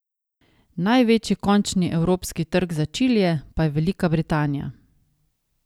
Največji končni evropski trg za čilije pa je Velika Britanija.